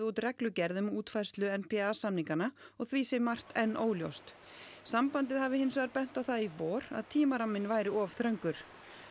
út reglugerð um útfærslu n p a samninganna og því sé margt enn óljóst sambandið hafi hins vegar bent á það í vor að tímaramminn væri of þröngur